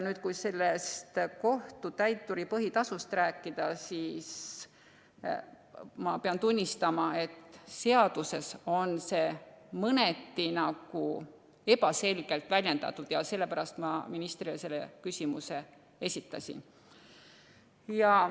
Kui kohtutäituri põhitasust rääkida, siis ma pean tunnistama, et seaduses on see mõneti ebaselgelt väljendatud ja sellepärast ma ministrile selle küsimuse esitasin.